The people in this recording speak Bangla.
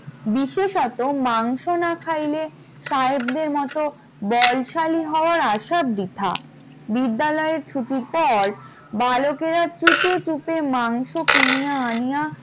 বিশেষত মাংস না খাইলে সাহেবের মত বলশালী হওয়ার আশা বৃথা বিদ্যালয় ছুটির পর বালকেরা চুপি চুপি মাংস কিনিয়া আনিয়া